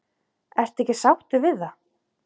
Ertu ekki sáttur við það?